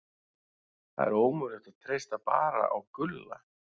Það er ómögulegt að treysta bara á Gulla.